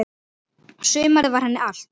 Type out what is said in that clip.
Sumarið var henni allt.